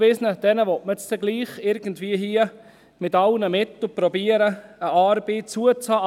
Man will hier irgendwie mit allen Mitteln versuchen, den Abgewiesenen eine Arbeit zuzuhalten.